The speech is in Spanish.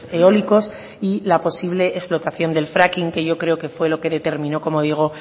eólicos y la posible explotación del fracking que yo creo que fue lo que determinó como digo